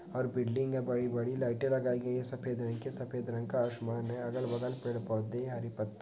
--और बिल्डिंग है बड़ी-बड़ी लाइटें लगाई गई हैं सफेद रंग की सफेद रंग का आसमान है अगल-बगल पेड़-पौधे हरी पत्ती--